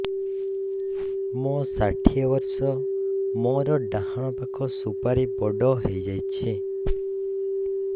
ମୋର ଷାଠିଏ ବର୍ଷ ମୋର ଡାହାଣ ପାଖ ସୁପାରୀ ବଡ ହୈ ଯାଇଛ